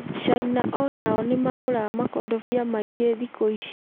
Caina onao nĩ magũraga makondobia maingĩ thikũ ici